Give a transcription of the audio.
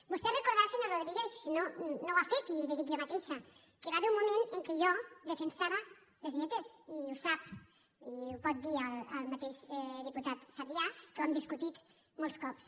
vostè deu recordar senyor rodríguez no ho ha fet i li ho dic jo mateixa que hi va haver un moment en què jo defensava les dietes i ho sap i ho pot dir el mateix diputat sabrià que ho hem discutit molts cops